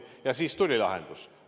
Ja siis tuli lahendus.